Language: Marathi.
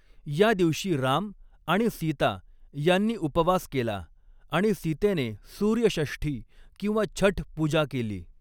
या दिवशी राम आणि सीता यांनी उपवास केला आणि सीतेने सूर्य षष्ठी किंवा छठ पूजा केली.